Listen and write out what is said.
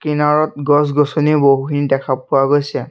কিনাৰত গছ গছনি বহুখিনি দেখা পোৱা গৈছে।